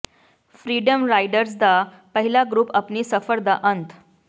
freedom riders ਦਾ ਪਹਿਲਾ group ਆਪਣੀ ਸਫ਼ਰ ਦਾ ਅੰਤ